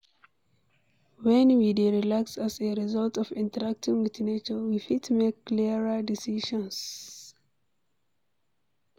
When we dey relaxed as a result of interacting with nature, we fit make clearer decisions